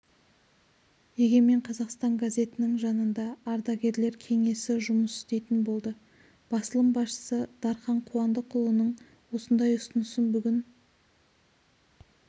егемен қазақстан газетінің жанында ардагерлер кеңесі жұмыс істейтін болды басылым басшысы дархан қуандықұлының осындай ұсынысын бүгін